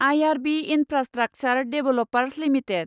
IRB Infrastructure Developers limited